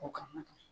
O kama